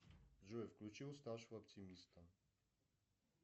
джой включи уставшего оптимиста